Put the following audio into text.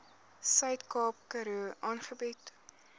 suidkaap karoo aangebied